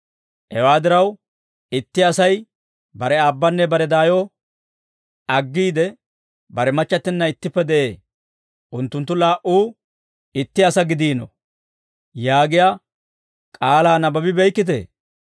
Hewaa diraw, ‹Itti Asay bare aabbanne bare daayo aggiide, bare machchattinna ittippe de'ee; unttunttu laa"uu itti asaa gidiino› yaagiyaa k'aalaa nabbabibeykkitee?